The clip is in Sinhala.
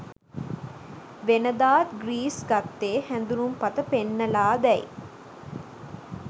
වෙනදාත් ග්‍රීස් ගත්තේ හැඳුනුම්පත පෙන්නලාදැයි